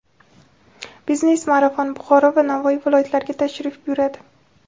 "Biznes marafon" Buxoro va Navoiy viloyatlariga tashrif buyuradi;.